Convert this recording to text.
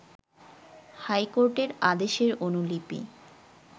হাইকোর্টের আদেশের অনুলিপি